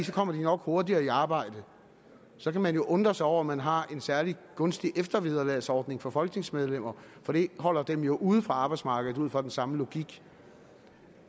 kommer de nok hurtigere i arbejde så kan man jo undre sig over at man har en særlig gunstig eftervederlagsordning for folketingsmedlemmer for det holder dem jo ude fra arbejdsmarkedet ud fra den samme logik